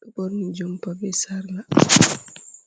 ɓe ɓorni jompa be sarla.